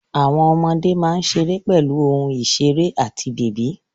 Àwọn ọmọdé máa ń ṣeré pẹ̀lú ohun ìṣeré àti bèbí.